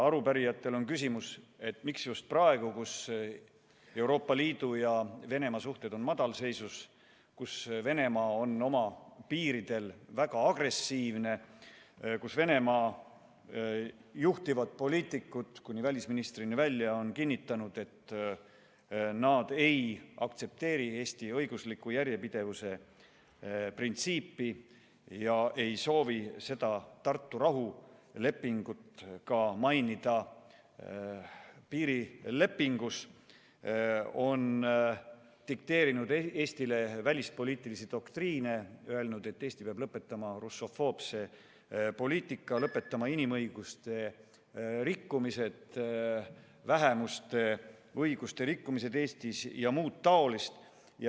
Arupärijatel on küsimus, miks on seda vaja just praegu, kui Euroopa Liidu ja Venemaa suhted on madalseisus, kui Venemaa on oma piiridel väga agressiivne, kui Venemaa juhtivad poliitikud kuni välisministrini välja on kinnitanud, et nad ei aktsepteeri Eesti Vabariigi õigusliku järjepidevuse printsiipi ega soovi Tartu rahulepingut mainida ka piirilepingus, on dikteerinud Eestile välispoliitilisi doktriine, öelnud, et Eesti peab lõpetama russofoobse poliitika, lõpetama inimõiguste rikkumised, vähemuste õiguste rikkumised Eestis ja muud taolist.